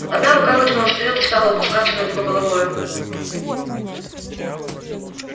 одна рука вытянулась вперёд и стала упускаться над его головой